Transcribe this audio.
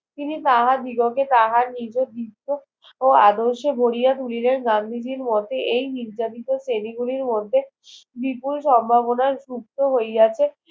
তিনি তাহা দিগকে তাহার নির্দেশ শ আদর্শে ভরিয়া তুলিলেন গান্ধীজির মোতে এই নির্যাতিত শ্রেণী গুলির মধ্যে বিপুল সম্ভাবনার যুক্ত হইয়াছে